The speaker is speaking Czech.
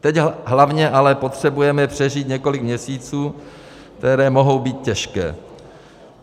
Teď hlavně ale potřebujeme přežít několik měsíců, které mohou být těžké.